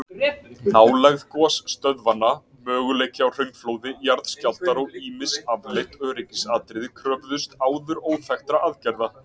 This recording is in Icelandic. Nálægð gosstöðvanna, möguleiki á hraunflóði, jarðskjálftar og ýmis afleidd öryggisatriði kröfðust áður óþekktra aðgerða.